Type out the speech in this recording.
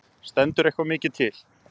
Stendur eitthvað mikið til?